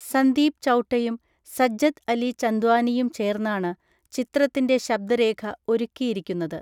സന്ദീപ് ചൗട്ടയും സജ്ജദ് അലി ചന്ദ്വാനിയും ചേർന്നാണ് ചിത്രത്തിൻ്റെ ശബ്‌ദരേഖ ഒരുക്കിയിരിക്കുന്നത്.